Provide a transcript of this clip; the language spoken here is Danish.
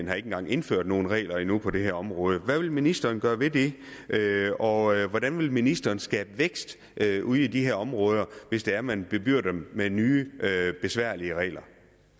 jeg ikke har indført nogen regler endnu på det her område hvad vil ministeren gøre ved det og hvordan vil ministeren skabe vækst ude i de her områder hvis det er man bebyrder dem med nye besværlige regler